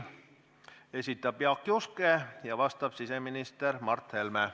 Esitab Jaak Juske ja vastab siseminister Mart Helme.